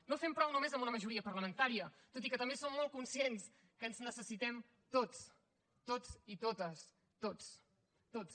no fem prou només amb una majoria parlamentària tot i que també som molt conscients que ens necessitem tots tots i totes tots tots